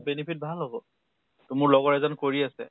benefit ভাল হʼব । তʼ মোৰ লগৰ এজন কৰি আছে ।